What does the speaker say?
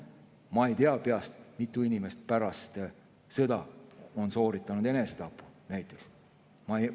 Ma ei tea peast, kui mitu inimest on pärast sõjas sooritanud näiteks enesetapu.